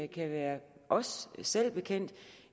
kan være os selv bekendt